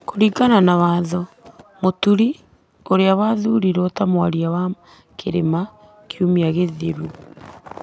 Kũringana na watho, Mũturi, ũrĩa wathurirwo ta mwaria wa Mt Kenya kiumia gĩthiru,